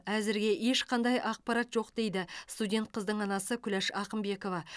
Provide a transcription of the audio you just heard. әзірге ешқандай ақпарат жоқ дейді студент қыздың анасы күләш ақымбекова